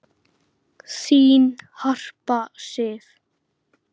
Þín Harpa Sif.